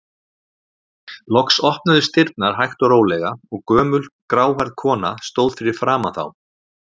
Loks opnuðust dyrnar hægt og rólega og gömul, gráhærð kona stóð fyrir framan þá.